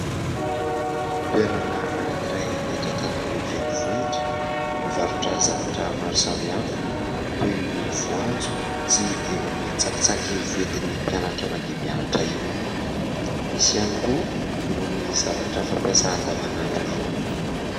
Toerana anankiray eto Antananarivo renivohitra mivarotra zavatra maro samihafa, toy ny voanjo sy irony tsakitsaky foentin'ny mpianatra mandeha mianatra irony. Misy ihany koa irony zavatra fampiasa andavanandro irony.